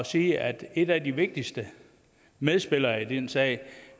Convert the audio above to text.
sige at en af de vigtigste medspillere i den sag